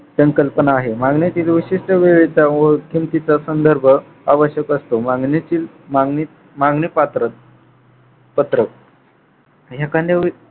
पण कल्पना आहे मागण्यातील विशिष्ट वेळेचा व संदर्भ आवश्यक असतो मागणीतील मागणी मागणी पात्र पत्र एखांद्या